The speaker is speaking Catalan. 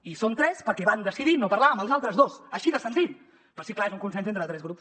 i són tres perquè van decidir no parlar amb els altres dos així de senzill però sí clar és un consens entre tres grups